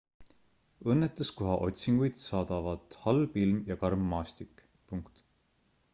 õnnetuskoha otsinguid saadavad halb ilm ja karm maastik